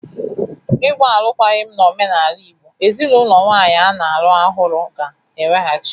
Ịgba alụkwaghịm n'omenala Igbo, ezinaụlọ nwanyị a na-alụ ọhụrụ ga-eweghachi nwunye